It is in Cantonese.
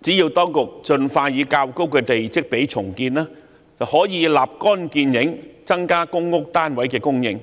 只要當局盡快以較高的地積比率重建，便可以立竿見影，增加公屋單位的供應。